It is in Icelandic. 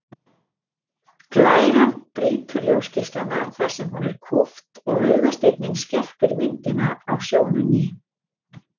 Glæran brýtur ljósgeislana þar sem hún er kúpt og augasteinninn skerpir myndina á sjónunni.